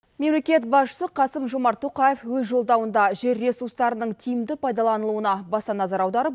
мемлекет басшысы қасым жомарт тоқаев өз жолдауында жер ресурстарының тиімді пайдаланылуына баса назар аударып